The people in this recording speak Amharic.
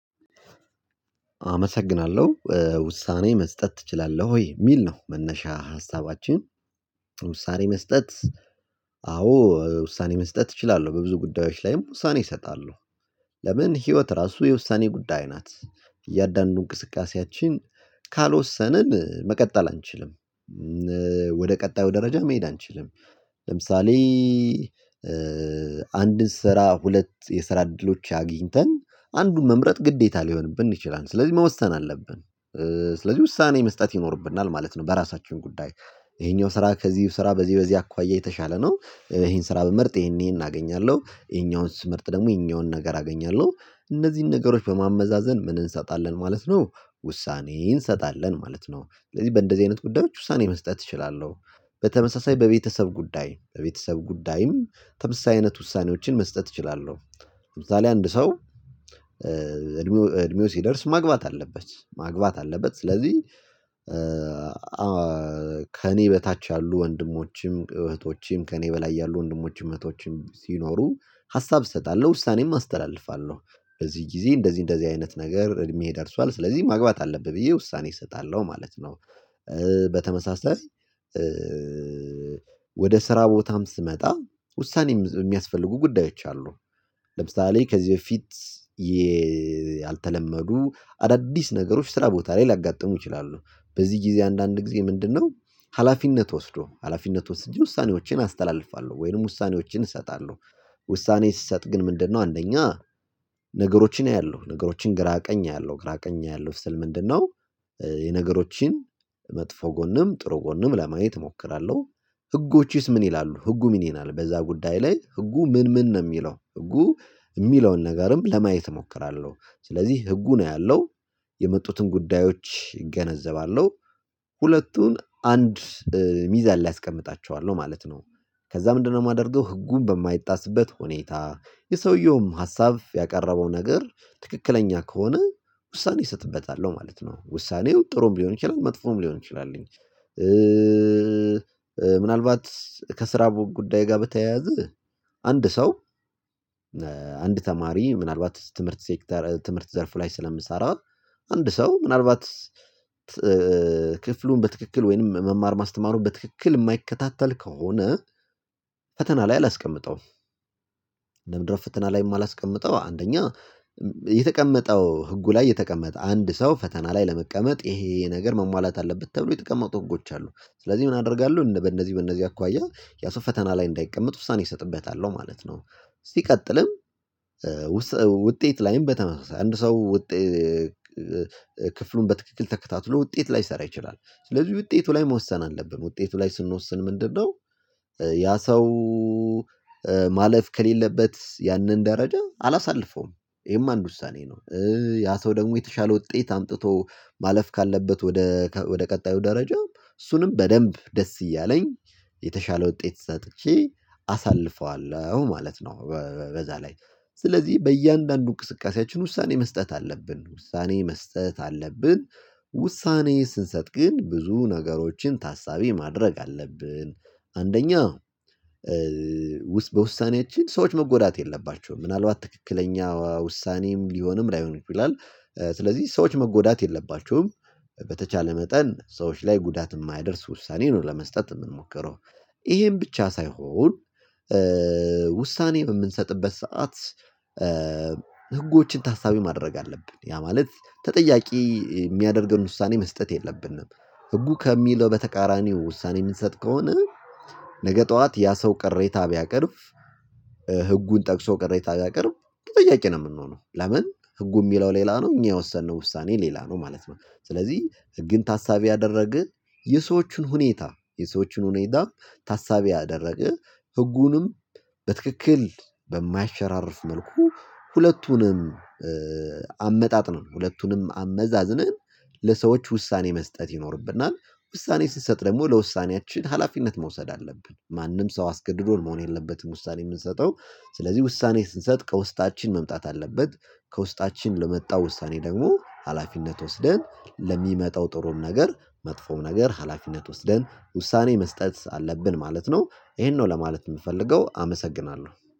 አመሰግናለሁ ውሳኔ መስጠት ትችላለህ ወይ? የሚል ነው መነሻ ሀሳባችን ዉሳነ መስጠት አዎ ውሳኔ መስጠት እችላለሁ። በብዙ ጉዳዮች ላይም ውሳኔ እሰጣለሁ። ለምን ህይወት ራሱ የውሳኔ ጉዳይ ናት እያንዳንዱ እንቅስቃሴያችን ካልወሰንን መቀጠል አንችልም። ቀጣዩ ደረጃ መሄድ አንችልም ለምሳሌ አንድ ስራ ሁለት የስራ እድሎች አግኝተን አንዱን መምረጥ ግዴታ ሊሆንብን ይችላል ስለዚህ መወሰን አለብን ስለዚህ ውሳኔ መስጠት ይኖርብናል ማለት ነው በራሳችን ጉዳይ ይሄኛው ስራ ከዚህ ስራ በዚህ በዚህ አኳያ የተሻለ ነው ይሄን ስራ ብመርጥ ይሄን ይሄን አገኛለሁ የኛውን ስምርት ደግሞ የኛውን ነገር አገኛለሁ እነዚህን ነገሮች በማመዛዘን ምን እንሰጣለን ማለት ነው ውሳኔ እንሰጣለን ማለት ነው። ስለዚህ በእንደዚህ አይነት ጉዳዮች ውሳኔ መስጠት እችላለሁ። በተመሳሳይ በቤተሰብ ጉዳይ በቤተሰብ ጉዳይም ተምሳሳይነት ውሳኔዎችን መስጠት እችላለሁ። ለምሳሌ አንድ ሰው እድሜው ሲደርስ ማግባት አለበት ማግባት አለበት ስለዚህ ከእኔ በታች ያሉ ወንድሞችም እህቶችም ከእኔ በላይ ያሉ ወንድሞች እህቶችም ሲኖሩ ሀሳብ እሰጣለሁ ውሳኔም አስተላልፋለሁ። በዚህ ጊዜ እንደዚህ እንደዚህ አይነት ነገር እድሜ ደርሷል ስለዚህ ማግባት አለብህ ብዬ ውሳኔ እሰጣለሁ ማለት ነው። በተመሳሳይ ወደ ስራ ቦታም ስመጣ ውሳኔም የሚያስፈልጉ ጉዳዮች አሉ። ለምሳሌ ከዚህ በፊት ያልተለመዱ አዳዲስ ነገሮች ስራ ቦታ ላይ ልያጋጥሙ ይችላሉ በዚህ ጊዜ አንዳንድ ጊዜ ምንድነው ሀላፊነት ወስዶ ሀላፊነት ወስጄ ውሳኔዎችን አስተላልፋለሁ ወይንም ውሳኔዎችን እሰጣለሁ። ውሳኔ ስሰጥ ግን ምንድነው አንደኛ ነገሮችን አያለሁ ነገሮችን ግራ ቀኝ አያለሁ ግራ ቀኝ አያለሁ ስል ምንድነው? የነገሮችን መጥፎ ጎንም ጥሩ ጎንም ለማየት እሞክራለሁ ህጎችስ ምን ይላሉ ህጉ ምን ይላሉ በዛ ጉዳይ ላይ ህጉ ምን ምን ነው የሚለው ህጉ የሚለውን ነገርም ለማየት እሞክራለሁ ስለዚህ ህጉ ነው ያለው የመጡትን ጉዳዮች እገነዘባለሁ ሁለቱን አንድ ሚዛን ላይ አስቀምጣቸዋለሁ ማለት ነው። ከዛ ምንድነው የማደርገው ህጉን በማይጣስበት ሁኔታ የሰውየውም ሀሳብ ያቀረበው ነገር ትክክለኛ ከሆነ ውሳኔ እሰጥበታለሁ ማለት ነው። ውሳኔው ጥሩም ሊሆን ይችላል መጥፎም ሊሆን ይችላል። ምናልባት ከስራ ጉዳይ ጋር በተያያዘ አንድ ሰው አንድ ተማሪ ምናልባት ትምህርት ሴክተር ትምህርት ዘርፍ ላይ ስለምሰራ አንድ ሰው ምናልባት ክፍሉን በትክክል ወይንም መማር ማስተማሩን በትክክል የማይከታተል ከሆነ ፈተና ላይ አላስቀምጠውም። ፍትና ላይ የማላስቀምጠው አንደኛ የተቀመጠው ህጉ ላይ የተቀመጠ አንድ ሰው ፈተና ላይ ለመቀመጥ ይሄ ነገር መሟላት አለበት ተብሎ የተቀመጡ ህጎች አሉ ስለዚህ ምን አደርጋለሁ በእነዚህ በእነዚህ አኳያ ያሰው ፈተና ላይ እንዳይቀመጥ ውሳኔ እሰጥበታለሁ ማለት ነው። ሲቀጥልም ውጤት ላይም በተመሳሳይ አንድ ሰው ውጤት ክፍሉን በትክክል ተከታትሎ ውጤት ላይሰራ ይችላል። ስለዚህ ውጤቱ ላይ መወሰን አለብን ውጤቱ ላይ ስንወስን ምንድነው ያ ሰው ማለፍ ከሌለበት ያንን ደረጃ አላሳልፈውም ይሄም አንድ ውሳኔ ነው። ያ ሰው ደግሞ የተሻለ ውጤት አምጥቶ ማለፍ ካለበት ወደ ወደ ቀጣዩ ደረጃ እሱንም በደንብ ደስ እያለኝ የተሻለ ውጤት ሰጥቼ አሳልፈዋለሁ ማለት ነው። በዛ ላይ ስለዚህ በእያንዳንዱ እንቅስቃሴያችን ውሳኔ መስጠት አለብን ውሳኔ መስጠት አለብን። ውሳኔ ስንሰጥ ግን ብዙ ነገሮችን ታሳቢ ማድረግ አለብን። አንደኛ በውሳኔያችን ሰዎች መጎዳት የለባቸውም ምናልባት ትክክለኛ ውሳኔም ሊሆንም ላይሆንም ይችላል ስለዚህ ሰዎች መጎዳት የለባቸዉም በተቻለ መጠን ሰዎች ላይ ጉዳት የማያደርስ ውሳኔ ነው ለመስጠት የምንሞክረው። ይሄን ብቻ ሳይሆን ውሳኔ በምንሰጥበት ሰዓት ህጎችን ታሳቢ ማድረግ አለብን ያ ማለት ተጠያቂ የሚያደርገን ውሳኔ መስጠት የለብንም። ህጉ ከሚለው በተቃራኒው ውሳኔ የምንሰጥ ከሆነ ነገ ጠዋት ያ ሰው ቀሬታ ቢያቀርብ ህጉን ጠቅሶ ቅረታ ቢያቀርብ ተጠያቂ ነው የምንሆነው ለምን ህጉ የሚለው ሌላ ነው እኛ የወሰንነው ውሳኔ ሌላ ነው ማለት ነው ስለዚህ ህግን ታሳቢ ያደረገ የሰዎችን ሁኔታ የሰዎችን ሁኔታም ታሳቢ ያደረገ ህጉንም በትክክል በማይሸራረፍ መልኩ ሁለቱንም አመጣጥኖ ሁለቱንም አመዛዝነን ለሰዎች ውሳኔ መስጠት ይኖርብናል። ውሳኔ ስንሰጥ ደግሞ ለውሳኔያችን ሀላፊነት መውሰድ አለብን ማንም ሰው አስገድዶ መሆን የለበትም ውሳኔ የምንሰጠው። ስለዚህ ውሳኔ ስንሰጥ ከውስጣችን መምጣት አለበት ከውስጣችን ለመጣው ዉሳነ ደግሞ ሀላፊነት ወስደን ለሚመጣው ጥሩም ነገር መጥፎው ነገር ሀላፊነት ወስደን ውሳኔ መስጠት አለብን ማለት ነው። ይሄን ነው ለማለት የምፈልገው አመሰግናለሁ።